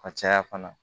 A caya fana